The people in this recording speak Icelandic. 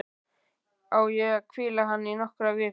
Á ég að hvíla hann í nokkrar vikur?